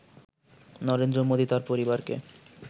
নরেন্দ্র মোদি তাঁর পরিবারকে